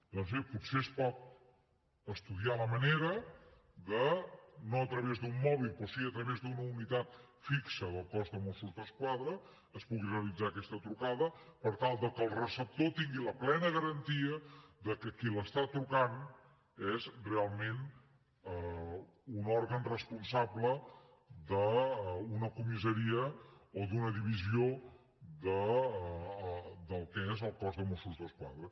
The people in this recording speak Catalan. doncs bé potser es pot estudiar la manera que no a través d’un mòbil però sí a través d’una unitat fixa del cos de mossos d’esquadra es pugui realitzar aquesta trucada per tal que el receptor tingui la plena garantia que qui li truca és realment un òrgan responsable d’una comissaria o d’una divisió del que és el cos de mossos d’esquadra